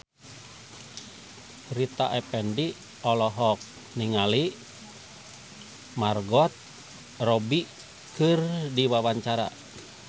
Rita Effendy olohok ningali Margot Robbie keur diwawancara